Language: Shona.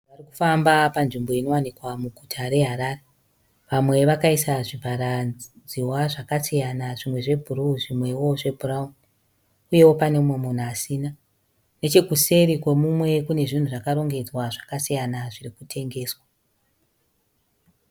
Vanhu varikufamba munzvimbo inowanikwa muguta reHarare. Vamwe vakaisa zvivharadziwa zvakasiyana zvimwe zvebhuru zvimwewo zvebhurauni. Uyewo pane mumwe munhu asina. Nechekusere kwemumwe kune zvinhu zvakarongedzwa zvakasiyana zviri kutengeswa.